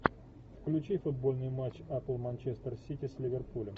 включи футбольный матч апл манчестер сити с ливерпулем